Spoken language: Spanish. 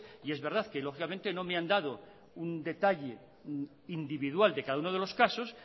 y es verdad que lógicamente no me han dado un detalle individual de cada uno de los casos